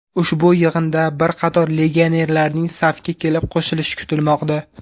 Ushbu yig‘inda bir qator legionerlarning safga kelib qo‘shilishi kutilmoqda.